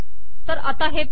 तरा आता हे पहा